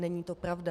Není to pravda.